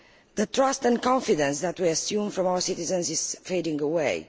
The trust and confidence that we assume from our citizens is fading away.